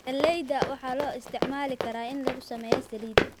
Galleyda waxaa loo isticmaali karaa in lagu sameeyo saliid.